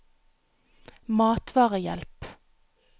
matvarehjelp